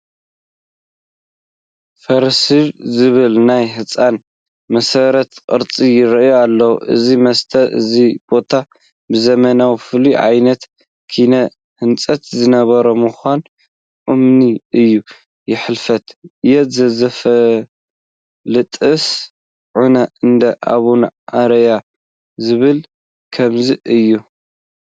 ፍርስርስ ዝበለ ናይ ህንፃ መሰረተ ቅርፂ ይርአ ኣሎ፡፡ እዚ መሰት እዚ ቦታ ብዘመኑ ፍሉይ ዓይነት ኪነ ህንፃ ዝነበሮ ምዃኑ እሙን እዩ፡፡ "ሕልፈት ያ ዘይፈልጥስ ዑና እንዳ ኣቡኡ ኣርእዮ" ዝብልዎ ከምዚ እዩ፡፡